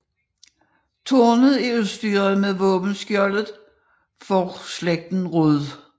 Tårnet er udstyret mod våbenskjoldet for slægten Rud